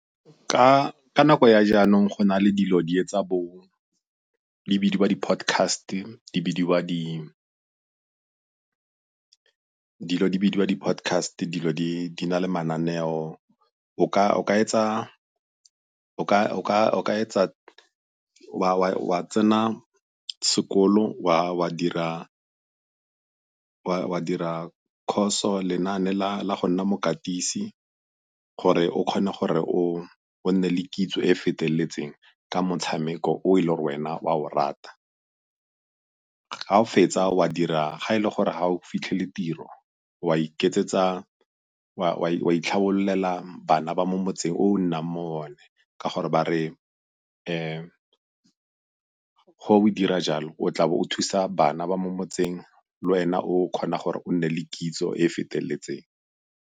Ka nako ya jaanong go na le dilo di etsa di bidiwa di-podcast-e, di bidiwa dilo di bidiwa di-podcast-e, dilo di na le mananeo. o ka etsa wa tsena sekolo wa dira course-o, lenaane la go nna mokatisi gore o kgone gore o nne le kitso e e feteletseng ka motshameko o e le gore wena o a o rata. Ga o a fetsa, o a dira, ga e le gore ga o fitlhele tiro, wa itlhabolelela bana ba mo motseng o o nnang mo go one, ka gore ba re ga o dira jalo o tla bo o thusa bana ba mo motseng le wena o kgona gore o nne le kitso e e feteletseng.